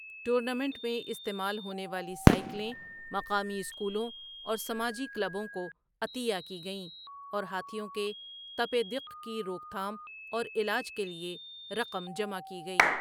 Tournament میں استعمال ہونے والی سائیکلیں مقامی اسکولوں اور سماجی کلبوں کو عطیہ کی گئیں اور ہاتھیوں کے تپ دق کی روک تھام اور علاج کے لیے رقم جمع کی گئی۔